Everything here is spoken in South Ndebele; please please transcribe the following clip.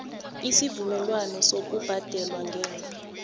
isivumelwano sokubhadela ngemva